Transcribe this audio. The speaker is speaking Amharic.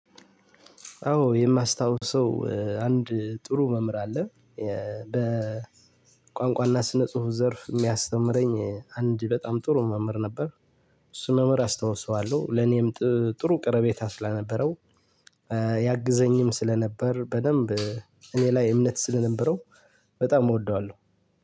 አዎ የማስታውሰው አንድ ጥሩ መምህር አለ በቋንቋና ስነ ጽሁፍ ዘርፍ የሚያስተምረኝ አንድ በጣም ጥሩ መምህር ነበር። እሱን መምህር አስታውሰዋለሁ ለኔም ጥሩ ቀረቤታ ስነበረው። ያግዘኝም ስለነበር በደንብ እኔ ላይ እምነት ስለነበረው። በጣም እወደዋለሁ።